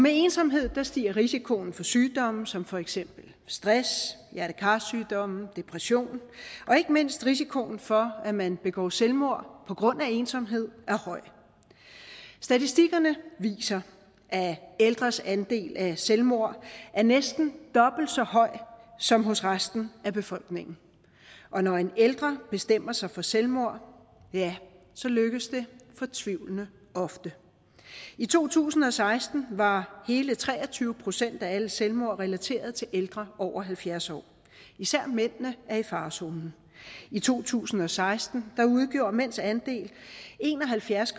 ensomhed stiger risikoen for sygdomme som for eksempel stress hjerte kar sygdomme og depression og ikke mindst risikoen for at man begår selvmord på grund af ensomhed er høj statistikkerne viser at ældres andel af selvmord er næsten dobbelt så høj som hos resten af befolkningen og når en ældre bestemmer sig for selvmord så lykkes det fortvivlende ofte i to tusind og seksten var hele tre og tyve procent af alle selvmord relateret til ældre over halvfjerds år især mændene er i farezonen i to tusind og seksten udgjorde mænds andel en og halvfjerds